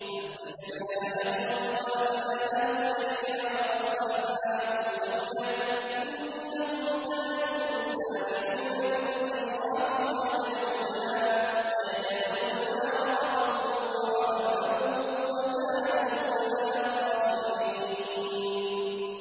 فَاسْتَجَبْنَا لَهُ وَوَهَبْنَا لَهُ يَحْيَىٰ وَأَصْلَحْنَا لَهُ زَوْجَهُ ۚ إِنَّهُمْ كَانُوا يُسَارِعُونَ فِي الْخَيْرَاتِ وَيَدْعُونَنَا رَغَبًا وَرَهَبًا ۖ وَكَانُوا لَنَا خَاشِعِينَ